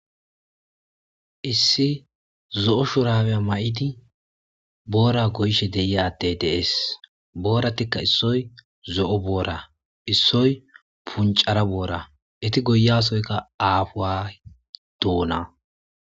Issi zo7o shurabe mayidi boora goyishe de7iza addey dee7esi. Booratikka issoy zo7o boora,issoyi punccara boora eeti goyiyassoykka aahuwa doona.